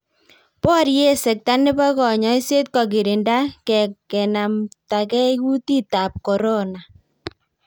Borie sekta nebo konyoiset kogirinda kenamtakei kutitab korona